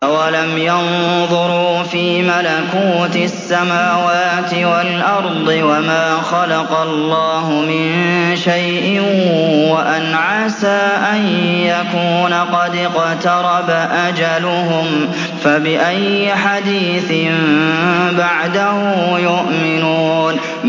أَوَلَمْ يَنظُرُوا فِي مَلَكُوتِ السَّمَاوَاتِ وَالْأَرْضِ وَمَا خَلَقَ اللَّهُ مِن شَيْءٍ وَأَنْ عَسَىٰ أَن يَكُونَ قَدِ اقْتَرَبَ أَجَلُهُمْ ۖ فَبِأَيِّ حَدِيثٍ بَعْدَهُ يُؤْمِنُونَ